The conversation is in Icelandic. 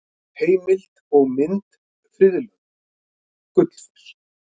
Heimild og mynd Friðlönd: Gullfoss.